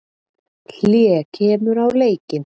Hlé kemur á leikinn.